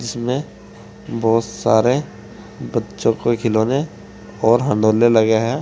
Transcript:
इसमें बहोत सारे बच्चों कोई खिलौने और लगे हैं।